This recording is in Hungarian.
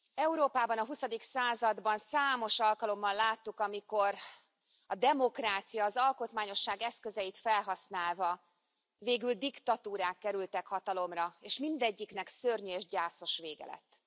Európában a huszadik században számos alkalommal láttuk, amikor a demokrácia, az alkotmányosság eszközeit felhasználva végül diktatúrák kerültek hatalomra, és mindegyiknek szörnyű és gyászos vége lett.